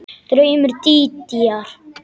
Draumur Dídíar